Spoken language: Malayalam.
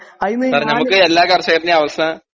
സാറെ നമ്മക്ക് എല്ലാ കർഷകരിൻറേം അവസ്ഥ